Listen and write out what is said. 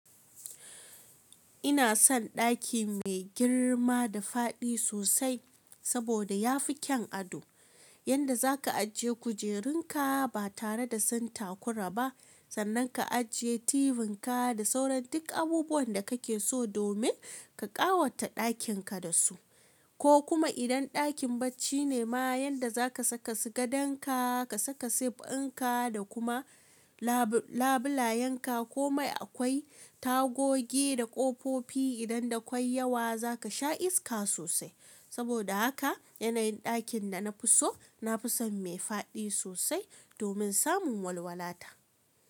Ina son ɗaki mai girma da fadi sosai saboda ya fi kyan ado. Yanda zaka ajiye kujerunka ba tare da sun takurara ba sannan ka ajiye TV ka da sauran duk abubuwan da kake so domin ka ƙawata ɗakin ka da su. Ko kuma idan ɗakin bacci ne ma yanda za ka saka su gadandan ka, ka saka sif ɗin ka da kuma labu labulayen ka komai akwai tagogi da ƙofofi idan da kwai yawa za ka sha iska sosai. Saboda haka yanayin ɗakin da na fi so, na fi son mai fadi sosai domin samun walwala ta.